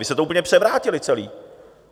Vy jste to úplně převrátili celé!